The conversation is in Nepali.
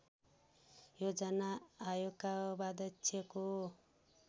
योजना आयोगका उपाध्यक्षको